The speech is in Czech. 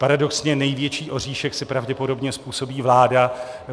Paradoxně největší oříšek si pravděpodobně způsobí vláda.